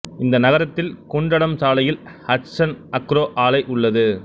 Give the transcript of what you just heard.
இந்த நகரத்தில் குண்டடம் சாலையில் ஹட்சன் அக்ரோ ஆலை உள்ளது